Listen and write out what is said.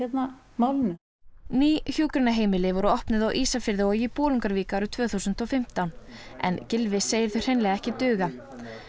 málinu ný hjúkrunarheimili voru opnuð á Ísafirði og í Bolungarvík árið tvö þúsund og fimmtán en Gylfi segir þau hreinlega ekki duga